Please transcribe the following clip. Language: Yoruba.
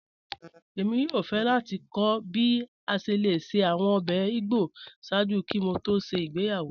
Ẹ̀mi yòò fẹ́ láti kọ̀ bí a ṣẹ́ lẹ̀ ṣẹ́ awọn ọ̀bẹ̀ ìgbọ́ sáàjú kí mò tó ṣẹ́ ìgbéyàwó